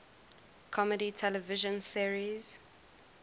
comedy television series